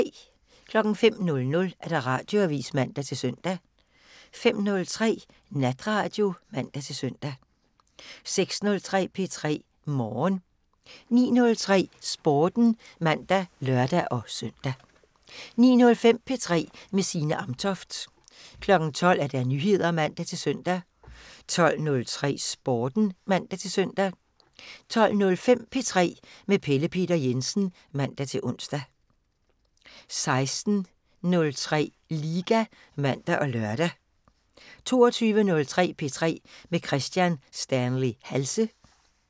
05:00: Radioavisen (man-søn) 05:03: Natradio (man-søn) 06:03: P3 Morgen 09:03: Sporten (man og lør-søn) 09:05: P3 med Signe Amtoft 12:00: Nyheder (man-søn) 12:03: Sporten (man-søn) 12:05: P3 med Pelle Peter Jensen (man-ons) 16:03: LIGA (man og lør) 22:03: P3 med Kristian Stanley Halse